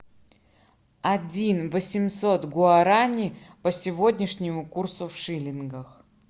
один восемьсот гуарани по сегодняшнему курсу в шиллингах